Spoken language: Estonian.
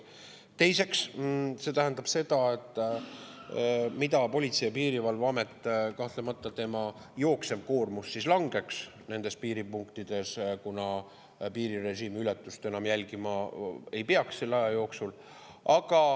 Teiseks, see tähendab seda, et Politsei‑ ja Piirivalveameti jooksev koormus kahtlemata langeks nendes piiripunktides, kuna enam jälgima ei peaks selle aja jooksul.